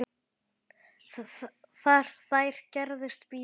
Þær gerðust víða.